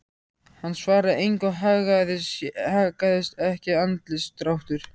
Hann svaraði engu og haggaðist ekki andlitsdráttur.